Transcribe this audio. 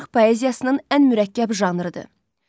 Aşıq poeziyasının ən mürəkkəb janrıdır.